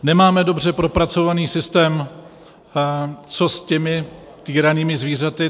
Nemáme dobře propracovaný systém, co s těmi týranými zvířaty.